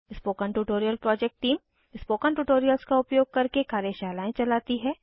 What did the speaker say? spoken tutorial project team spoken tutorials का उपयोग करके कार्यशालाएं चलाती है